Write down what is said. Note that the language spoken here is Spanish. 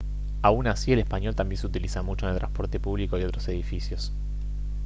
aun así el español también se utiliza mucho en el transporte público y otros edificios